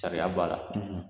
Sariya b'a la